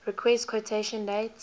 request quotation date